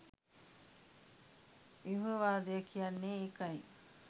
ව්‍යුහවාදය කියන්නේ ඒකයි.